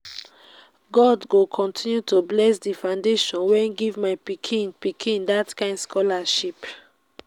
god go continue to bless the foundation wey give my pikin pikin dat kin scholarship